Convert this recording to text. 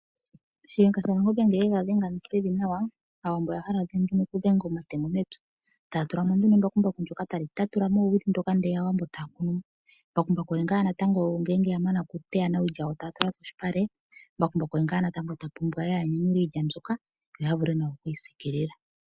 Shiyenga shaNangombe ngele yega dhenge pevi nawa, Aawambo oya hala nduno okudhenga omatemo mepya, taya tulamo nduno embakumbaku ndjoka tali tatula mo oowili dhoka, aawambo etaya kunu. Mbakumbaku oye ngaa natango ngele ya mana okuteya, iilya taya tula polupale, mbakumbaku oye ngaa natango ta pumbwa okunyanyula iilya mbyoka, opo ya vule okuyi siikilila.